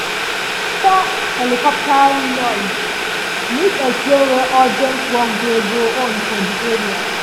as we hear helicopter noise news explain say urgent work dey go on for di area.